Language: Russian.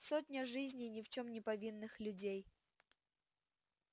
сотня жизней ни в чём не повинных людей